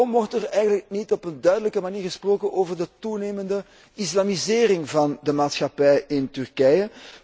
Waarom wordt er eigenlijk niet op een duidelijke manier gesproken over de toenemende islamisering van de maatschappij in Turkije?